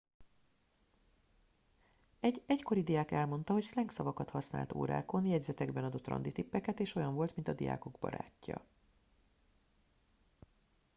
egy egykori diák elmondta hogy szlengszavakat használt órákon jegyzetekben adott randitippeket és olyan volt mint a diákok barátja